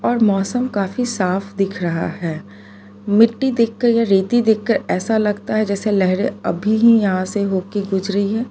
और मौसम काफी साफ दिख रहा है मिट्टी देखकर रेती देखकर ऐसा लगता है जैसे लहरें अभी ही यहां से होके गुजरी है।